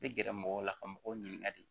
I bɛ gɛrɛ mɔgɔw la ka mɔgɔw ɲininka de